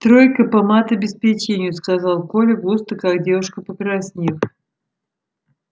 тройка по матобеспечению сказал коля густо как девушка покраснев